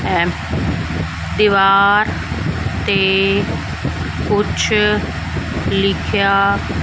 ਹੈ ਦੀਵਾਰ ਤੇ ਕੁਝ ਲਿਖਿਆ --